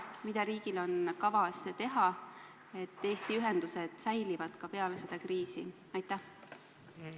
Mida riigil on kavas teha, et Eesti ühendused säiliksid ka peale seda kriisi?